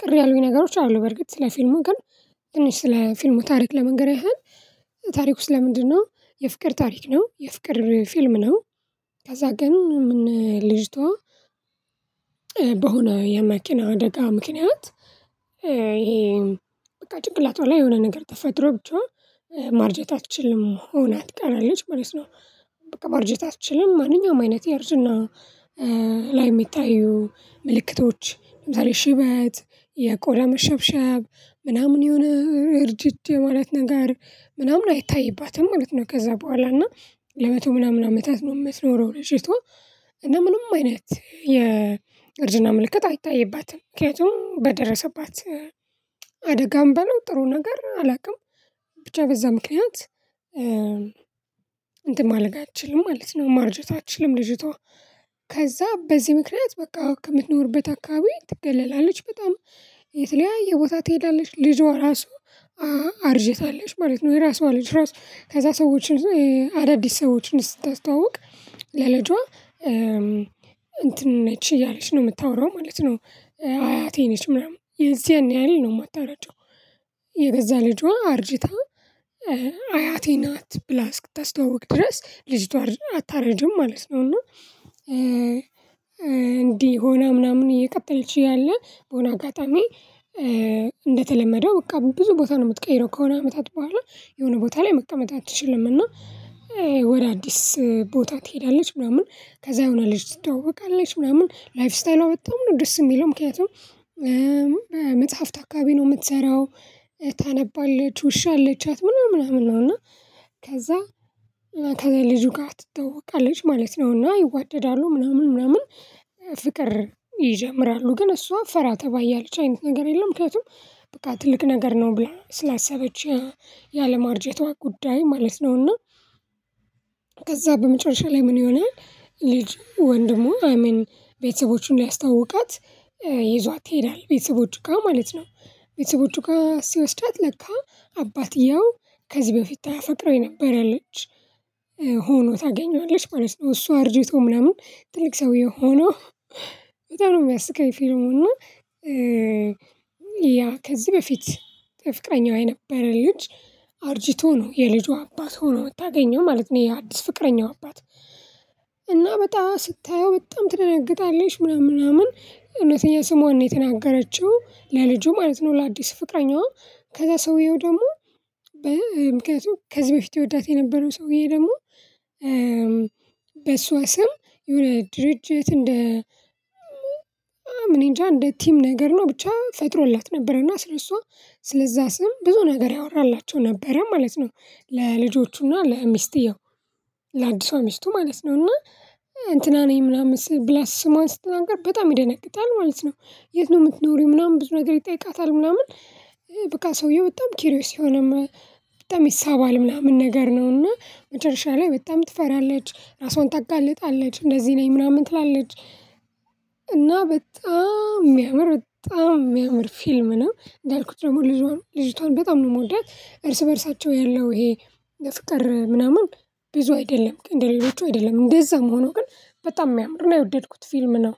ቅር ያሉኝ ነገሮች አሉ በርግጥ ስለ ፊልሙ ግን። ትንሽ ስለ ፊልሙ ታሪክ ለመንገር ያህል ታሪኩ ስለለምንድነው? የፍቅር ታሪክ ነው የፍቅር ፊልም ነው። ከዛ ግን ምን ልጅቷ በሆነ የመኪና አደጋ ምክንያት ይሄ በቃ ጭንቅላቷ ላይ የሆነ ነገር ተፈድሮ ብቻ ማርጀት አትችልም ሆና ትቀራለች ማለት ነው። በቃ ማርጀት አትችልም ማንኛውም አይነት የእርጅና ላይ የሚታዩ ምልክቶች ለምሳሌ ሽበት የቆዳ መሸብሸብ ምናምን ይሁን እርጅት የማለት ነገር ምናምን አይታይባትም ማለት ነው። ከዛ በኋላ እና ለመቶ ምናምን አመታት ነው የምትኖረው ልጅቷ። እና ምንም አይነት የእርጅና ምልክት አይታይባትም ምክንያቱም በደረሰባት አደጋም በለው ጥሩ ነገር አላውቅም። ብቻ በዛ ምክንያት እ እንትን ማለት አትችልም ማለት ነው። ማርጀት አትችልም ልጅቷ። ከዛ በዚህ ምክንያት በቃ ከምትኖርበት አካባቢ ትገለላለች በጣም የተለያየ ቦታ ትሄዳለች ልጇ ራሱ አርጅታለች ማለት ነው። የራሷ ልጅ ራሷ ከዛ ሰዎችን አዳዲስ ሰዎችን ስታስተዋውቅ ለልጇ እንትን ነች እያለች ነው የምታወራው ማለት ነው። አያቴ ነች ምናምን የዚያን ያህል ነው የማታረጀው። የገዛ ልጇ አርጅታ አያቴ ናት ብላ እስክታስተዋውቅ ድረስ ልጅቷ አታረጅም ማለት ነው። እና እንዲህ ሆና ምናምን እየቀጠለችው ያለ በሆነ አጋጣሚ። እንደተለመደው በቃ ብዙ ቦታ ነው የምትቀይረው ከሆነ አመታት በኋላ የሆነ ቦታ ላይ መቀመጥ አትችልም። እና ወደ አዲስ ቦታ ትሄዳለች። ምናምን ከዛ የሆነ ልጅ ትታወቃለች ምናምን ላይፍ ስታይሏ በጣም ነው ደስ የሚለው ምክንያቱም እ በእ መጽሐፍ አካቢ ነው የምትሰራው። ታነባለች ውሻ አለቻት ምናምን ምናምን ነው እና። ከዛ ከዛ ልጁ ጋር ትተውቃለች ማለት ነውና ይዋደዳሉ ምናምን ምናምን። ፍቅር ይጀምራሉ ግን እሷ ፈራ ተባ እያለች አይነት ነገር የለም። ምክንያቱም በቃ ትልቅ ነገር ነው ብለን ስላሰበች ያለማርጀቷ ጉዳይ ማለት ነውና። ከዛ በመጨረሻ ላይ ምን ይሆናል? ልጅ ወንድሙ አሜን ቤተሰቦቹን ሊያስተዋውቃት ይዟት ይሄዳል ቤተሰቦቹ ጋር ማለት ነው። ቤተሰቦቹ ጋር ሲወስዳት ለካ አባትየው ከዚህ በፊት ታፈቅረው የነበረለች ሆኖ ታገኘዋለች ማለት ነው። እሱ አርጀቶ ምናምን ትልቅ ሰውዬ ሆኖ በጣም ነው የሚያስቅ። ፈልሙ እና ያ ከዚህ በፊት ፍቅረኛዋ የነበረ ልጅ አርጂቶ ነው የልጁ አባት ሆኖ ምታገኘው ማለት ነው። ይሄ አዲስ ፍቅረኛው አባት እና በጣም ስታየው በጣም ትደነግጣለሽ ምናምን ምናምን እውነተኛ ስሟን ነው የተናገረችው ለልጁ ማለት ነው ለአዲስ ፍቅረኛዋ። ከዛ ሰውየው ደግሞ ምክንያቱም ከዚህ በፊት የወዳት የነበረው ሰውዬ ደግሞ እም በእሷ ስም የሆነ ድርጅት እንደ እኔንጃ እንደ ቲም ነገር ነው ብቻ ፈጥሮላት ነበርና ስለእሷ ስለዛ ስም ብዙ ነገር ያወራላቸው ነበረ ማለት ነው። ለልጆቹና ለሚስትየው ለአዲሷ ሚስቱ ማለት ነው። እና እንትና ነኝ ምናምን ብላ ስሟን ስትናገር በጣም ይደነግጣል ማለት ነው። የት? ነው የምትኖሪው ምናምን ብዙ ነገር ይጠይቃታል ምናምን በቃ ሰውየው በጣም ኪሪዮስ የሆነም በጣም ይሳባል ምናምን ነገር ነው እና መጨረሻ ላይ በጣም ትፈራለች ራሷን ታጋልጣለች እንደዚህ ነኝ ምናምን ትላለች። እና በጣም የሚያምር በጣም የሚያምር ፊልም ነው። እንዳልኩት ደግሞ ልጅቷን በጣም ነው የምወዳት እርስ በእርሳቸው ያለው ይሄ ፍቅር ምናምን ቢዙ አይደለም እንደሌሎቹ አይደለም እንደዛ መሆኑ ግን በጣም የሚያምርና የወደድኩት ፊልም ነው